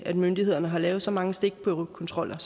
at myndighederne har lavet så mange stikprøvekontroller